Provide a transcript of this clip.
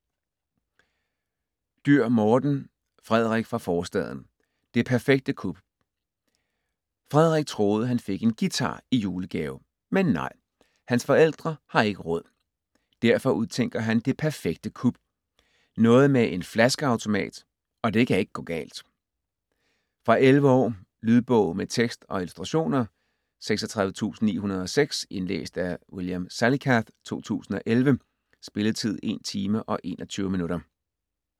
Dürr, Morten: Frederik fra forstaden: det perfekte kup Frederik troede, han fik en guitar i julegave. Men nej, hans forældre har ikke råd. Derfor udtænker han det perfekte kup. Noget med en flaskeautomat, og det kan ikke gå galt. Fra 11 år. Lydbog med tekst og illustrationer 36906 Indlæst af William Salicath, 2011. Spilletid: 1 timer, 21 minutter.